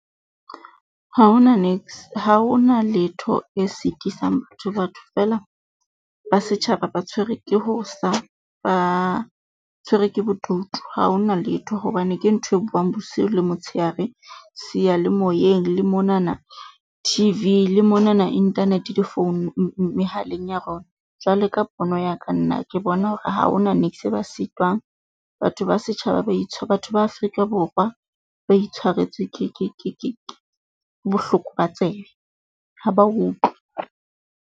Ha ho na niks ha ho na letho e sitisang batho, batho feela ba setjhaba ba tshwere ke ho sa ba ba tshwere ke bodutu. Ha ho na letho hobane ke ntho e buang bosiu le motsheare, Seyalemoyeng le monana T_V le monana internet difounung mehaleng ya rona. Jwale ka pono ya ka nna ke bona hore ha ho na niks e ba sitwang. Batho ba setjhaba ba batho ba Afrika Borwa ba itshwaretswe ke ke ke ke bohloko, ba tsebe ha ba utlwe.